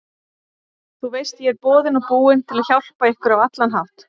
Þú veist ég er boðinn og búinn til að hjálpa ykkur á allan hátt.